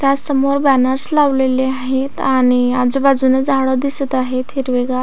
त्यासमोर बॅनर्स लावलेले आहेत आणि आजूबाजून झाडं दिसत आहेत हिरवीगार.